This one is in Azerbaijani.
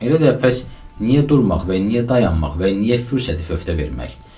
Elə də pəs niyə durmaq və niyə dayanmaq və niyə fürsəti fövtə vermək?